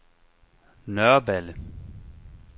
Nørreballe